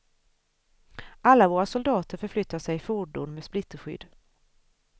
Alla våra soldater förflyttar sig i fordon med splitterskydd.